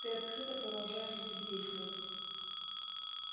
ты открыто продолжаешь бездействовать